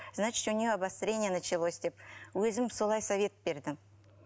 значить у нее обострение началось деп өзім солай совет бердім